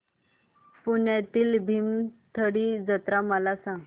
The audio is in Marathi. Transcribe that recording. पुण्यातील भीमथडी जत्रा मला सांग